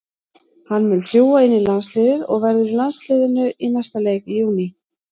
Hann mun fljúga inn í landsliðið og verður í landsliðinu í næsta leik í júní.